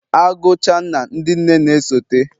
Agucha nna, ndị nne na-esote